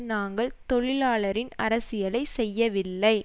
நாங்கள் தொழிலாளரின் அரசியலை செய்யவில்லை